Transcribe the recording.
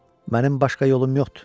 Mənim başqa yolum yoxdur.